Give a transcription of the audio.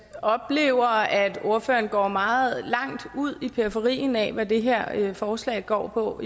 oplever at ordføreren går meget langt ud i periferien af hvad det her forslag går på